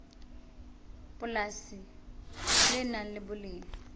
polasi le nang le boleng